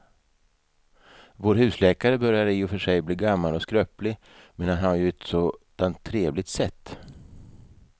Vår husläkare börjar i och för sig bli gammal och skröplig, men han har ju ett sådant trevligt sätt!